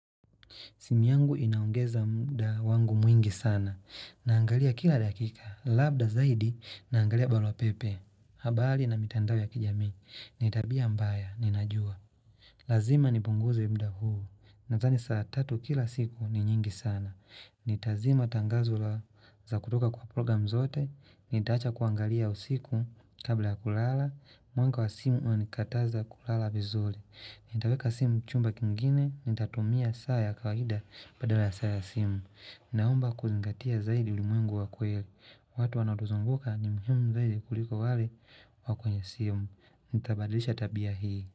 Simu yangu inaongeza muda wangu mwingi sana. Naangalia kila dakika. Labda zaidi naangalia barua pepe. Habari na mitandao ya kijamii. Ni tabia mbaya ninajua. Lazima nipunguze muda huu. Nadhani saa tatu kila siku ni nyingi sana. Nitazima tangazo za kutoka kwa program zote. Nitaacha kuangalia usiku kabla kulala. Mwanga wa simu unanikataza kulala vizuri. Nitaweka simu chumba kingine. Nitatumia saa ya kawaida Badala ya saa ya simu Naomba kuzingatia zaidi ulimwengu wa kweli. Watu wanapozunguka ni muhimu zaidi kuliko wale wa kwenye simu. Nitabadlisha tabia hii.